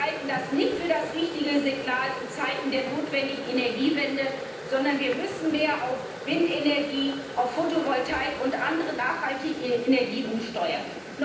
Wir halten das nicht für das richtige Signal in Zeiten der notwendigen Energiewende, sondern wir müssen mehr in Richtung Windenergie, Fotovoltaik und andere nachhaltige Energien umsteuern.